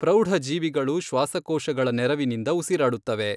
ಪ್ರೌಢಜೀವಿಗಳು ಶ್ವಾಸಕೋಶಗಳ ನೆರವಿನಿಂದ ಉಸಿರಾಡುತ್ತವೆ.